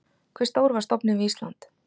Hve stór var stofninn við Ísland?